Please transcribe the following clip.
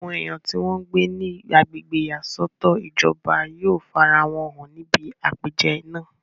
àwọn èèyàn tí wọ́n ń gbé ní agbègbè ìyàsọ́tọ̀ ìjọba yóò farawọn hàn ní ibi àpèjẹ náà.